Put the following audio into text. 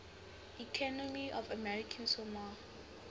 economy of american samoa